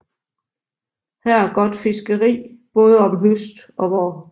Her er got Fiskerie baade om Høst og Vaar